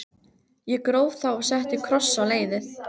Ég gróf þá og setti kross á leiðið.